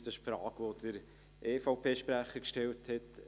Das ist die Frage, die der EVP-Sprecher gestellt hat.